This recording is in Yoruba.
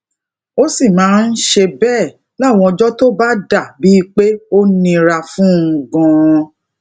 ó sì máa ń ṣe béè láwọn ọjó tó bá dà bíi pé ó nira fún un ganan